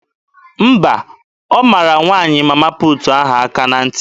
Mba, ọ mara nwaanyị Mama puutu ahụ aka na ntị.